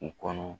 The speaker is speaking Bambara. U kɔnɔ